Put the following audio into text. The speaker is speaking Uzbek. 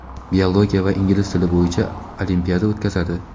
biologiya va ingliz tili bo‘yicha olimpiada o‘tkazadi.